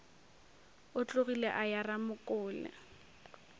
o tlogile a ya ramokole